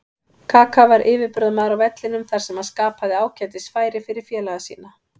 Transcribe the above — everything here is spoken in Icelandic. Kaka var yfirburðamaður á vellinum þar sem hann skapaði ágætis færi fyrir félaga sína.